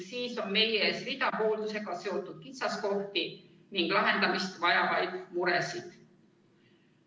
Siis on meie ees hulk hooldusega seotud kitsaskohti ja lahendamist vajavaid muresid.